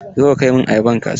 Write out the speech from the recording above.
Zo ka kai min ayaban kasuwa!